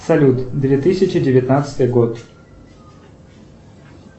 салют две тысячи девятнадцатый год